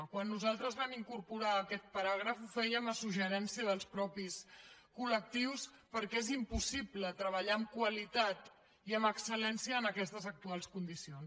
quan nosaltres vam incorporar aquest paràgraf ho fèiem a suggeriment dels mateixos col·què és impossible treballar amb qualitat i amb excel·lència en aquestes actuals condicions